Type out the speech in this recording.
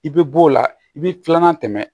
I bɛ b'o la i bɛ filanan tɛmɛ